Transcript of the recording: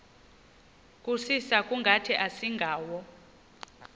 kusisa kungathi asingawo